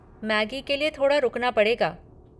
Maggi के लिए थोड़ा रुकना पड़ेगा।